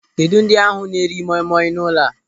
Kedụ ndị ahụ na-eri moi moi n'ụlọ a.